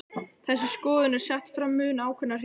Þessi skoðun er sett fram mun ákveðnar hér.